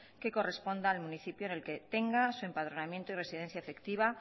que corresponda al municipio que tenga su empadronamiento y residencia efectiva